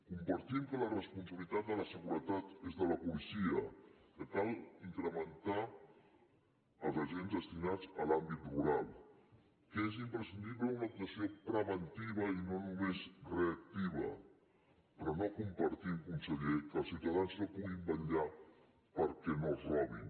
compartim que la responsabilitat de la seguretat és de la policia que cal incrementar els agents destinats a l’àmbit rural que és imprescindible una actuació preventiva i no només reactiva però no compartim conseller que els ciutadans no puguin vetllar perquè no els robin